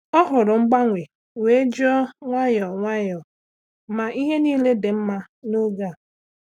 Ọ hụrụ mgbanwe wee jụọ nwayọọ nwayọọ ma ihe niile dị mma n’oge a.